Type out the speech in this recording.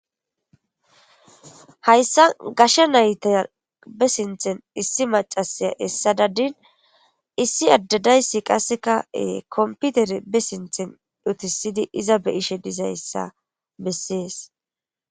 Haysan gashe nayta be sinthani issi macashiya esada , iss Ade daysi qaseka kompitere be sintheni utisid iza be'ashe dizaysa beses.